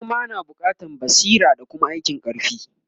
noma na buƙatan basira da Kuma aikin karfi